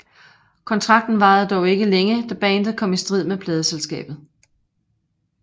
Kontrakten varede dog ikke længe da bandet kom i strid med pladeselskabet